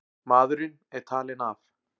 Maðurinn er talinn af.